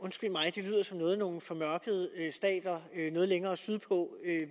noget nogle formørkede stater noget længere sydpå